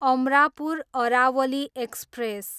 Amarapur Aravali express